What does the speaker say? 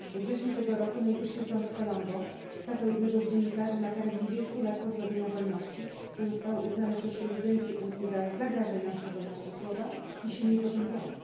We wrześniu tego roku, Najwyższy Sąd w Colombo skazał jednego z dziennikarzy na karę 20 lat pozbawienia wolności, co zostało uznane przez prezydencję Unii za zagrażające wolności słowa i silnie potępione.